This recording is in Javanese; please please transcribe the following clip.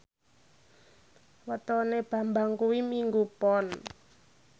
wetone Bambang kuwi Minggu Pon